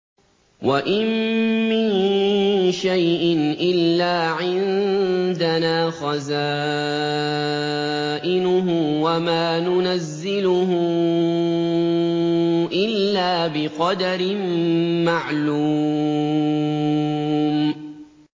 وَإِن مِّن شَيْءٍ إِلَّا عِندَنَا خَزَائِنُهُ وَمَا نُنَزِّلُهُ إِلَّا بِقَدَرٍ مَّعْلُومٍ